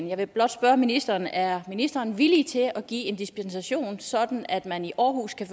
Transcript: jeg vil blot spørge ministeren er ministeren villig til at give en dispensation sådan at man i aarhus kan